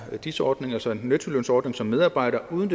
dis ordning altså en nettolønsordning som medarbejder uden